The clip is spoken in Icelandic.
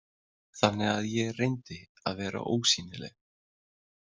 Þannig að ég reyndi að vera ósýnileg.